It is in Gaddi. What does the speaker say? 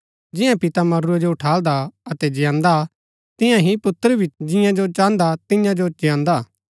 जियां पिता मरूरै जो ऊठाल्दा अतै जियान्दा तियां ही पुत्र भी जियां जो चाहन्दा तियां जो जियान्दा